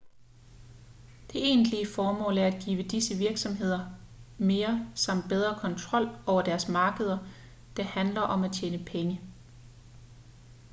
det egentlige formål er at give disse virksomheder mere samt bedre kontrol over deres markeder det handler om at tjene penge